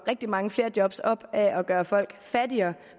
mange flere job op af at gøre folk fattigere